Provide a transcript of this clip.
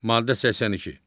Maddə 82.